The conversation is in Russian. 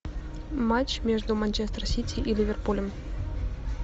матч между манчестер сити и ливерпулем